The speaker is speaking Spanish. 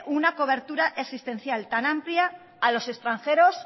una cobertura asistencial tan amplia a los extranjeros